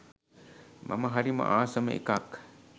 මම හරිම ආසම එකක්.